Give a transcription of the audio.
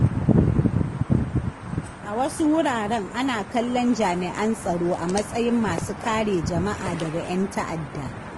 A wasu wuraren, ana kallon jami’an tsaro a matsayin masu kare jama’a daga ƴan ta’adda.